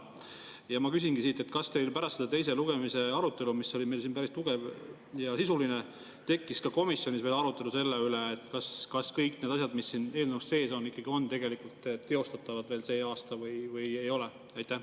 Ja ma küsingi: kas teil pärast seda teise lugemise arutelu, mis oli meil siin päris tugev ja sisuline, tekkis komisjonis arutelu selle üle, kas kõik need asjad, mis siin eelnõus sees on, on tegelikult teostatavad veel sel aastal või ei ole?